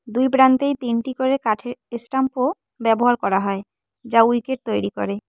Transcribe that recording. দুই প্রান্তেই তিনটি করে কাঠের স্ট্যাম্পও ব্যবহার করা হয় যা উইকেট তৈরি করে।